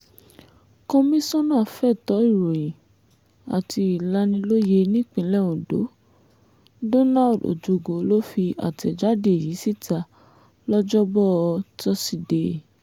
komisanna fẹ̀tọ́ ìròyìn àti ìlanilóye nípínlẹ̀ ondo donald ojogo ló fi àtẹ̀jáde yìí síta lọ́jọ́bọ tosidee